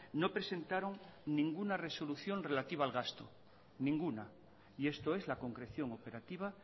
no presentaron ninguna resolución relativa al gasto ninguna y esto es la concreción operativa